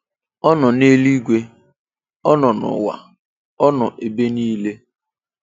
Ọ nọ neluigwe, ọ nọ nụwa, ọ nọ nebe nile.